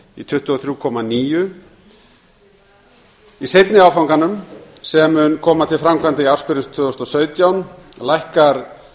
í tuttugu og þrjú komma níu prósent í seinni áfanganum sem mun koma til framkvæmda í ársbyrjun tvö þúsund og sautján lækkar